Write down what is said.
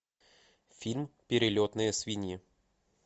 фильм перелетные свиньи